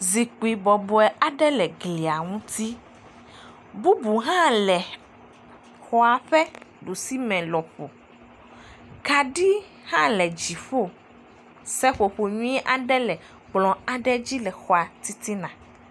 zikpi bɔbɔe aɖe le glia ŋuti bubu hã le xɔa ƒe ɖusi me kaɖi hã le dziƒo seƒoƒo nyuie aɖe kplɔ aɖe dzi le xɔa titina